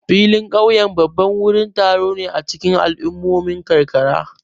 Filin ƙauyen babban wurin taro ne a cikin al'ummomin karkara.